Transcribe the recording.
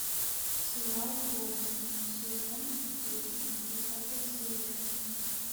сериал гоблин сезон десять десятая серия